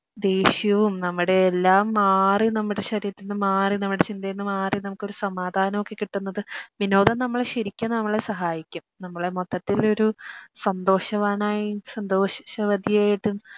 ദേഷ്യവും നമ്മുടെ എല്ലാം മാറി നമ്മുടെ ശരീരത്തിന്ന് മാറി നമ്മുടെ ചിന്തയിൽന്ന് മാറി നമുക്കൊരു സമാധാനം ഒക്കെ കിട്ടുന്നത് വിനോദം നമ്മളെ ശെരിക്കും നമ്മെളെ സഹായിക്കും നമ്മളെ മൊത്തത്തിൽ ഒരു സന്തോഷവാനായും സന്തോഷവതിയായിട്ടും